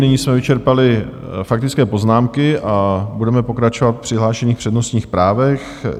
Nyní jsme vyčerpali faktické poznámky a budeme pokračovat v přihlášených přednostních právech.